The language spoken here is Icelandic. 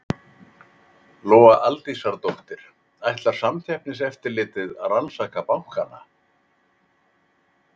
Lóa Aldísardóttir: Ætlar Samkeppniseftirlitið að rannsaka bankana?